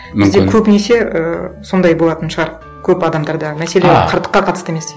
мүмкін бізде көбінесе і сондай болатын шығар көп адамдарда мәселе қарттыққа қатысты емес